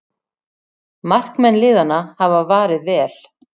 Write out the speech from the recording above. Markmenn liðanna hafa varið vel